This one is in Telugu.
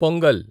పొంగల్